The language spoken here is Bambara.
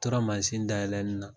U tora dayɛlɛnni na